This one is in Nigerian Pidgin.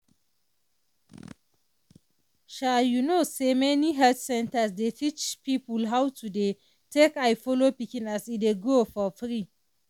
um you know say many health centers dey teach people how to dey take eye follow pikin as e dey grow for free.